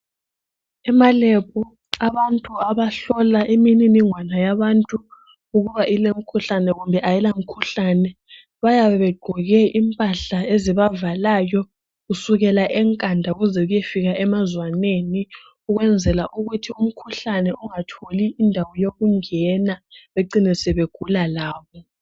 Emalebhu abantu abahlola imininingwane yabantu ukuba ilemkhuhlane kumbe ayila mkhuhlane, bayabe begqoke impahla ezibavalayo kusukela enkanda kuzele kuyefika emazwaneni ukwenzela ukuthi umkhuhlane ungatholi indawo yokungena becine sebegula labo.